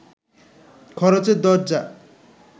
খরচের দরজা